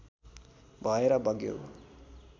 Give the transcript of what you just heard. भएर बग्यो